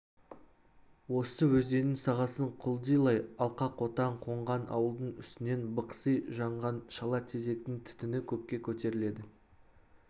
осы өзеннің сағасын құлдилай алқақотан қонған ауылдың үстінен бықси жанған шала тезектің түтіні көкке көтеріледі